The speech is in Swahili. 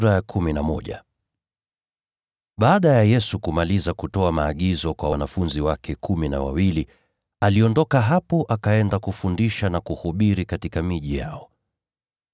Baada ya Yesu kumaliza kutoa maagizo kwa wanafunzi wake kumi na wawili, aliondoka hapo akaenda kufundisha na kuhubiri katika miji yao.